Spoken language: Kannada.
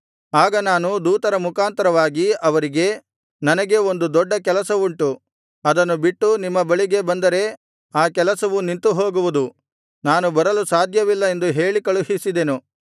ಆಗ ನಾನು ದೂತರ ಮುಖಾಂತರವಾಗಿ ಅವರಿಗೆ ನನಗೆ ಒಂದು ದೊಡ್ಡ ಕೆಲಸವುಂಟು ಅದನ್ನು ಬಿಟ್ಟು ನಿಮ್ಮ ಬಳಿಗೆ ಬಂದರೆ ಆ ಕೆಲಸವು ನಿಂತು ಹೋಗುವುದು ನಾನು ಬರಲು ಸಾಧ್ಯವಿಲ್ಲ ಎಂದು ಹೇಳಿ ಕಳುಹಿಸಿದೆನು